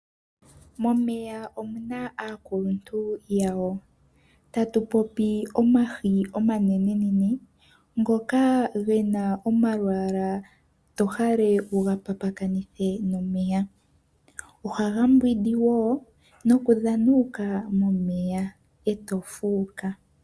Momeya omuna aakaluntu yawo, tatu popi oohi oonenene ndhoka dhina omalwaala tohala okuga papakanitha nomeya . Ohadhi mbwindi woo nokudhana momeya eto fuuka.